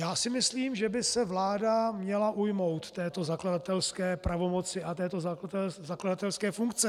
Já si myslím, že by se vláda měla ujmout této zakladatelské pravomoci a této zakladatelské funkce.